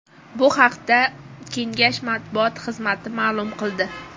Bu haqda kengash matbuot xizmati ma’lum qildi .